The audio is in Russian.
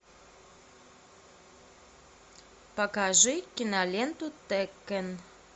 покажи киноленту теккен